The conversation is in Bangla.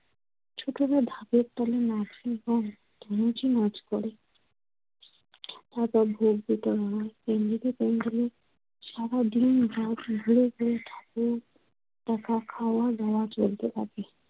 ছোটদের ঢাকের তালে নাচ দেখা, নিজে নাচ করে। হ্যাঁ, তো ভোগ বিতরণ হয় সারাদিন, রাত ঘুরে ঘুরে ঠাকুর দেখা খাওয়া দাওয়া চলতে থাকে।